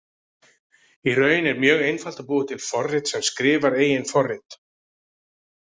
Í raun er mjög einfalt að búa til forrit sem skrifar eigin forrit.